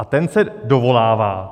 A ten se dovolává.